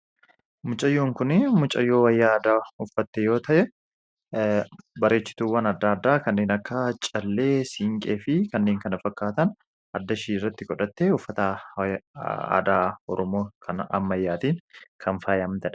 Mucayyoon kun mucayyoo wayyaa aadaa uffatte yoo ta’u, bareechituuwwan adda addaa kanneen akka callee, siinqee fi kanneen kana fakkaatan addatti godhattee uffata aadaa Oromoo kan ammayyaatiin kan faayamtedha.